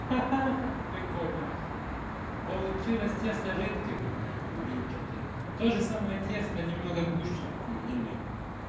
ха-ха прикольно получилось тесто жидким блинчики тоже самое тесто немного гуще блины